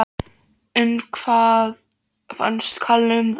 En hvað fannst Kalla um það?